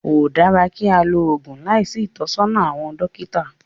Kò dára kí á lo oògùn láìsí ìtọ́sọ́nà àwọn dókítà